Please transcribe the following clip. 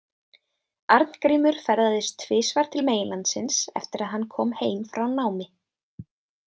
Arngrímur ferðaðist tvisvar til meginlandsins eftir að hann kom heim frá námi.